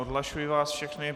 Odhlašuji vás všechny.